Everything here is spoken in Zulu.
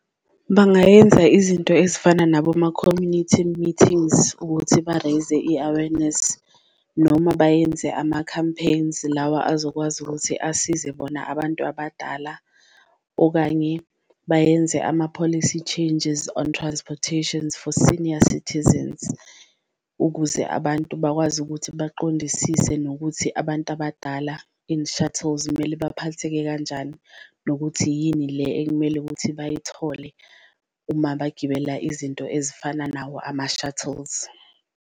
Bangayenza izinto ezifana naboma-community meetings ukuthi ba-raise-ze i-awareness, noma bayenze ama-campaigns lawa azokwazi ukuthi asize bona abantu abadala. Okanye bayenze ama-policy changes on transportations for senior citizens ukuze abantu bakwazi ukuthi baqondisise nokuthi abantu abadala in shuttles kumele baphatheke kanjani. Nokuthi yini le ekumele ukuthi bayithole uma bagibela izinto ezifana nawo ama-shuttles.